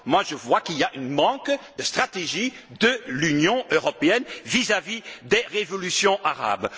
Moi, je vois qu'il y a un manque de stratégie de l'Union européenne vis à vis des révolutions arabes.